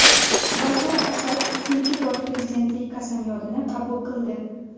Bashar Asad uchinchi bor prezidentlik qasamyodini qabul qildi.